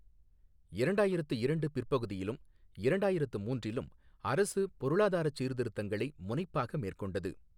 இரண்டாயிரத்து இரண்டு பிற்பகுதியிலும் இரண்டாயிரத்து மூன்றிலும் அரசு பொருளாதாரச் சீர்திருத்தங்களை முனைப்பாக மேற்கொண்டது.